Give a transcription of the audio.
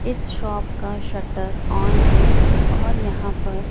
इस शॉप का shutter on है और यहां पर--